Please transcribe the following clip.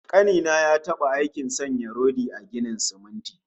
Ƙani na ya taɓa aikin sanya rodi a ginin siminti